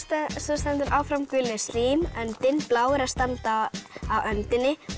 stendur áfram gulir slím öndin bláir að standa á öndinni og